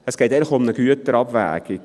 Eigentlich geht es um eine Güterabwägung.